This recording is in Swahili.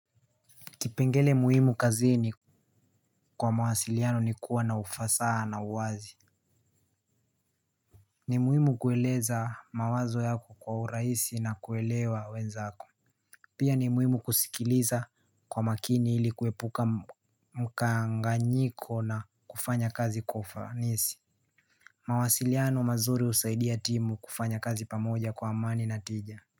Kipengele muhimu kazini kwa mawasiliano ni kuwa na ufasaha na uwazi ni muhimu kueleza mawazo yako kwa urahisi na kuelewa wenzako. Pia ni muhimu kusikiliza kwa makini il ikuepuka mkanganyiko na kufanya kazi kwa ufanisi. Mawasiliano mazuri husaidia timu kufanya kazi pamoja kwa amani na timu.